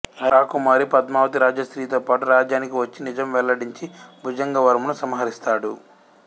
రాకుమారి పద్మావతి రాజశ్రీతో పాటు రాజ్యానికి వచ్చి నిజం వెల్లడించి భుజంగవర్మను సంహరిస్తాడు